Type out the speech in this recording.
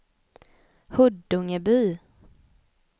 Huddungeby